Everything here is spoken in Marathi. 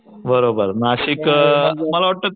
बरोबर नाशिक अ मला वाटत